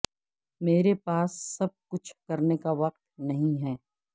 میرے پاس سب کچھ کرنے کا وقت نہیں ہے